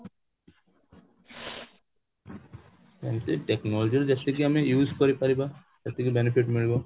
ସେମିତି technology ର ଯେତିକି ଆମେ use କରିପାରିବା ସେତିକି benefit ମିଳିବ